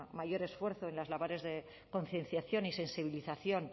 mayor esfuerzo en las labores de concienciación y sensibilización